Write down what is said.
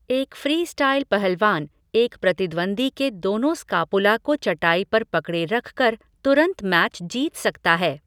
एक फ़्रीस्टाइल पहलवान एक प्रतिद्वंद्वी के दोनों स्कापुला को चटाई पर पकड़े रख कर तुरंत मैच जीत सकता है।